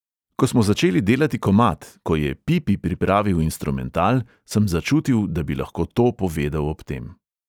Ko smo začeli delati komad, ko je pipi pripravil instrumental, sem začutil, da bi lahko to povedal ob tem.